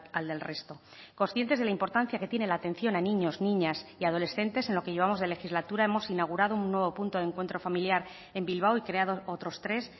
al del resto conscientes de la importancia que tiene la atención a niños niñas y adolescentes en lo que llevamos de legislatura hemos inaugurado un nuevo punto de encuentro familiar en bilbao y creado otros tres